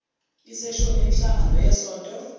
iseshoni yemihlangano yesonto